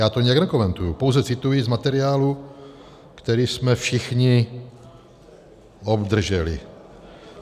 Já to nijak nekomentuji, pouze cituji z materiálu, který jsme všichni obdrželi.